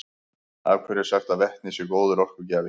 af hverju er sagt að vetni sé góður orkugjafi